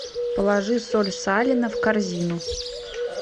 положи соль салина в корзину